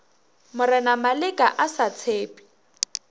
mna maleka a sa tshepe